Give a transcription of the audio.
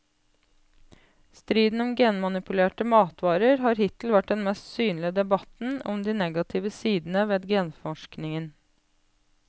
Striden om genmanipulerte matvarer har hittil vært den mest synlige debatten om de negative sidene ved genforskningen.